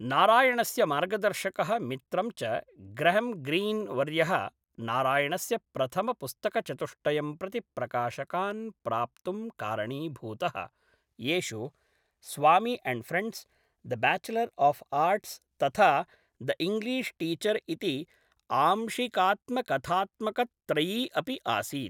नारायणस्य मार्गदर्शकः मित्रं च ग्रहम् ग्रीन् वर्यः नारायणस्य प्रथमपुस्तकचतुष्टयं प्रति प्रकाशकान् प्राप्तुं कारणीभूतः, येषु Swami and friends, the bachelor of arts तथा द इङ्ग्लिश् टीचर् इति आंशिकात्म कथात्मकत्रयी अपि आसीत्।